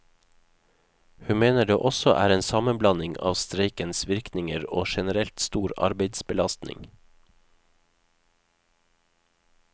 Hun mener det også er en sammenblanding av streikens virkninger og generelt stor arbeidsbelastning.